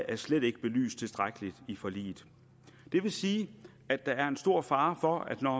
er slet ikke belyst tilstrækkeligt i forliget det vil sige at der er en stor fare for at man